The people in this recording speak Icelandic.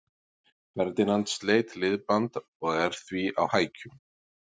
Ferdinand sleit liðband og er því á hækjum.